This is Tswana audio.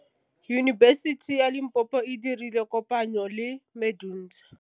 Yunibesiti ya Limpopo e dirile kopanyô le MEDUNSA.